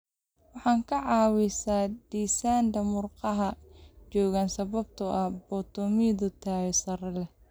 Waxay ka caawisaa dhisidda murqaha xooggan sababtoo ah borotiinno tayo sare leh.